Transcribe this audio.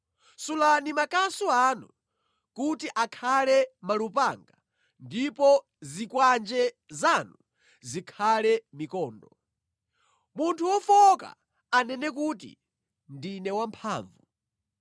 Sulani makasu anu kuti akhale malupanga ndipo zikwanje zanu zikhale mikondo. Munthu wofowoka anene kuti, “Ndine wamphamvu!”